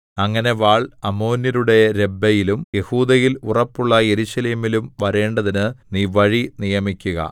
അങ്ങനെ വാൾ അമ്മോന്യരുടെ രബ്ബയിലും യെഹൂദയിൽ ഉറപ്പുള്ള യെരൂശലേമിലും വരേണ്ടതിന് നീ വഴി നിയമിക്കുക